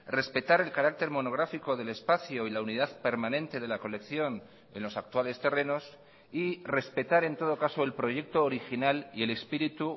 respetar el carácter monográfico del espacio y la unidad permanente de la colección en los actuales terrenos y respetar en todo caso el proyecto original y el espíritu